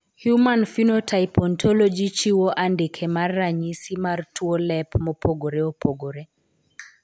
Human Phenotype Ontology chiwo andike mar ranyisi mar tuwo lep mopogore opogore.